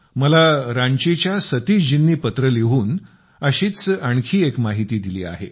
मला रांचीच्या सतीशजींनी पत्र लिहून अशीच आणखी एक माहिती दिली आहे